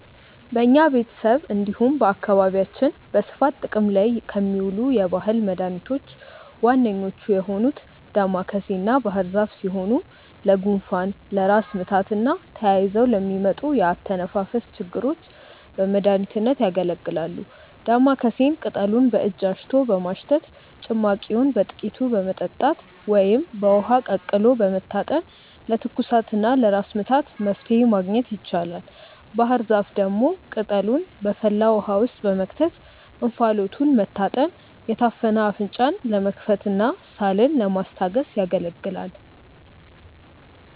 በኛ ቤተሰብ እንዲሁም በአካባቢያችን በስፋት ጥቅም ላይ ከሚውሉ የባህል መድኃኒቶች ዋነኞቹ የሆኑት ዳማከሴና ባህርዛፍ ሲሆኑ ለጉንፋን፣ ለራስ ምታትና ተያይዘው ለሚመጡ የአተነፋፈስ ችግሮች በመድሀኒትነት ያገለግላሉ። ዳማከሴን ቅጠሉን በእጅ አሽቶ በማሽተት፣ ጭማቂውን በጥቂቱ በመጠጣት ወይም በውሃ ቀቅሎ በመታጠን ለትኩሳትና ለራስ ምታት መፍትሔ ማግኘት ይቻላል። ባህርዛፍ ደግሞ ቅጠሉን በፈላ ውሃ ውስጥ በመክተት እንፋሎቱን መታጠን የታፈነ አፍንጫን ለመክፈትና ሳልን ለማስታገስ ያገለግላል።